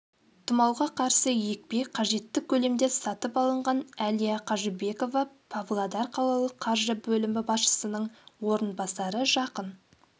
тұмауға қарсы екпе қажетті көлемде сатып алынған әлия қажыбекова павлодар қалалық қаржы бөлімі басшысының орынбасары жақын